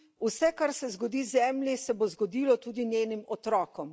Vse, kar se zgodi Zemlji, se bo zgodilo tudi njenim otrokom.